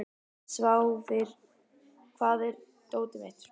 Sváfnir, hvar er dótið mitt?